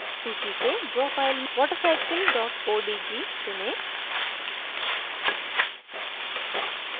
सूची से draw file watercycle odg चुनें